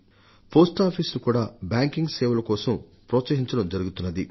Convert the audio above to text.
పోస్టాఫీసును కూడా బ్యాంకింగ్ సేవల కోసం ప్రోత్సహించడం జరుగుతున్నది